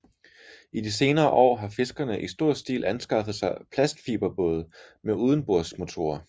I de senere år har fiskerne i stor stil anskaffet sig plastfiberbåde med udenbordsmotorer